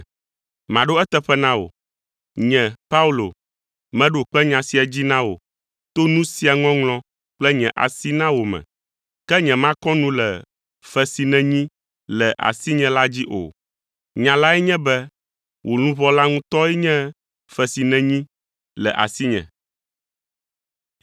Maɖo eteƒe na wò. Nye, Paulo, meɖo kpe nya sia dzi na wò to nu sia ŋɔŋlɔ kple nye asi na wò me. Ke nyemakɔ nu le fe si nènyi le asinye la dzi o! Nya lae nye be wò luʋɔ la ŋutɔe nye fe si nenyi le asinye!